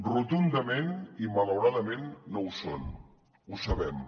rotundament i malauradament no ho són ho sabem